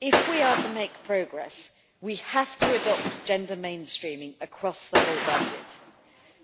If we are to make progress, we have to adopt gender mainstreaming across the whole budget,